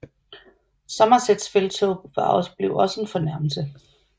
Somersets felttog blev også en fornærmelse